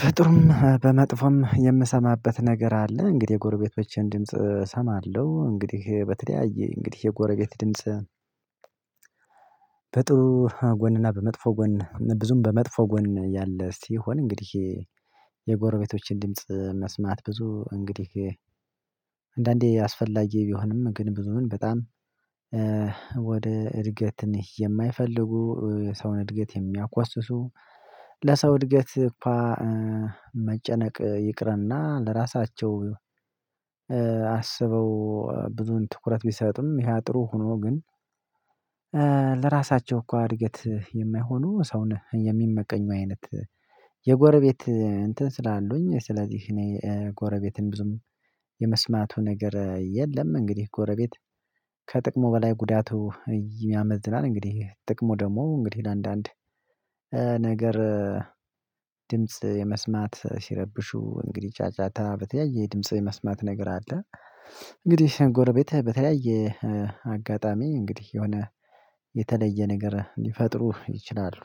በጥሩም በመጥፎም የምሰማበት ነገር አለ እንግዲህ የጎረቤቶቼን ድምጽ እሰማለሁ እንግዲህ በተለያየ እንግዲህ የጎረቤት ድምጽ። በጥሩ ጎንና በመጥፎ ጎን ብዙም በመጥፎ ጎን ያለ ሲሆን እንግዲህ የጎረቤቶችን ድምጽ መስማት ብዙ እንግዲህ አንዳንዴ አስፈላጊ ቢሆንም ግን ብዙም በጣም ወደ እድገት መሄድ የማይፈልጉ ሰውን እድገት የሚያኮስሱ። ለሰው እድገት እንኳን መጨነቅ ይቅርና ለራሳቸው አስበው ብዙን ትኩረት ቢሰጥም ይሄ ጥሩ ሆኖ ግን። ለራሳቸው እንኳን እድገት የማይሆኑ ሰውን የሚመቀኙ አይነት የጎረቤት እንትን ስላሉኝ ስለዚህ እኔ ጎረቤትን ብዙም የመስማቱ ነገር የለም። እንግዲህ ጎረቤት ከጥቅሙ በላይ ጉዳቱ ያመዝናል። እንግዲህ ጥቅሙ ደግሞ እንግዲህ ለአንዳንድ ነገር ድምጽ የመስማት ሲረብሹ እንግዲህ ጫጫታ በተለያየ የድምጽ የመስማት ነገር አለ። እንግዲህ ጎረቤት በተለያየ አጋጣሚ እንግዲህ የሆነ የተለየ ነገር ሊፈጥሩ ይችላሉ